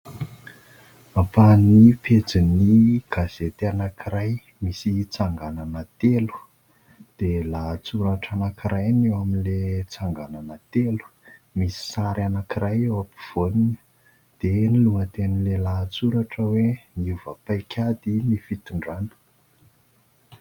Ampahan'ny pejy ny gazety anankiray misy tsanganana telo dia lahatsoratra anankiray no eo amin'ilay tsanganana telo, misy sary anankiray eo am-povoany dia ny lohatenin'ny lahatsoratra hoe "niova paikady ny fitondrana."